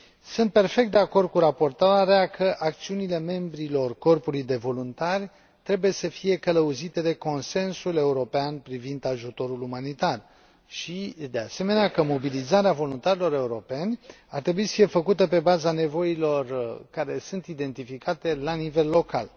Sunt perfect de acord cu raportoarea că acțiunile membrilor Corpului de voluntari trebuie să fie călăuzite de Consensul european privind ajutorul umanitar și, de asemenea, că mobilizarea voluntarilor europeni ar trebui să fie făcută pe baza nevoilor care sunt identificate la nivel local.